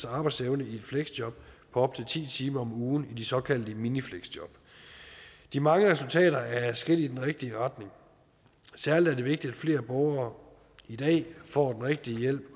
arbejdsevne i et fleksjob på op til ti timer om ugen i de såkaldte minifleksjob de mange resultater er et skridt i den rigtige retning særlig er det vigtigt at flere borgere i dag får den rigtige hjælp